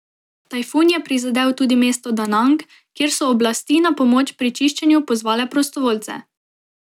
Tajfun je prizadel tudi mesto Danang, kjer so oblasti na pomoč pri čiščenju pozvale prostovoljce.